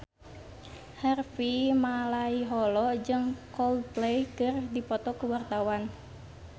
Harvey Malaiholo jeung Coldplay keur dipoto ku wartawan